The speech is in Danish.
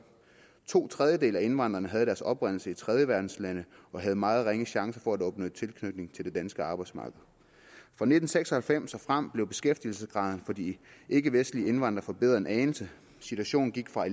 to tredjedele af indvandrerne havde deres oprindelse i tredjeverdenslande og havde meget ringe chance for senere at opnå en tilknytning til det danske arbejdsmarked fra nitten seks og halvfems og frem blev beskæftigelsesgraden for de ikkevestlige indvandrere forbedret en anelse situationen gik fra at